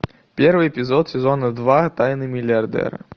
первый эпизод сезона два тайны миллиардера